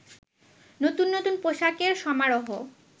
নতুন নতুন পোশাকের সমারহ